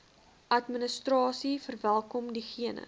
administrasie verwelkom diegene